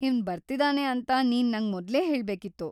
ಇವ್ನ್ ಬರ್ತಿದಾನೆ ಅಂತ ನೀನ್‌ ನಂಗೆ ಮೊದ್ಲೇ ಹೇಳ್ಬೇಕಿತ್ತು.